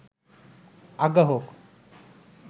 আজ্ঞা হোক